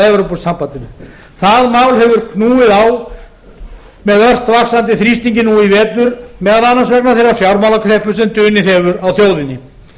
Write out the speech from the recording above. evrópusambandinu það mál hefur knúið á með ört vaxandi þrýstingi nú í vetur meðal annars vegna þeirrar fjármálakreppu sem dunið hefur á þjóðinni